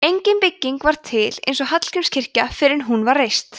engin bygging var til eins og hallgrímskirkja fyrr en hún var reist